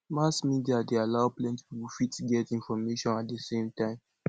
mass media dey allow plenty pipo fit get information at di same time